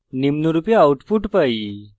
নিম্নরূপে output পাই: